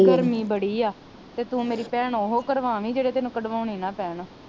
ਗਰਮੀ ਬੜੀ ਆ ਤੇ ਤੂੰ ਮੇਰੀ ਭੈਣ ਓਹੋ ਕਰਵਾਵੀ ਜਿਹੜੇ ਤੈਨੂੰ ਕਡਵਾਉਣੇ ਨਾ ਪੈਣ